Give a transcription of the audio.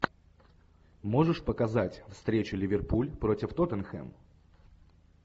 можешь показать встречу ливерпуль против тоттенхэм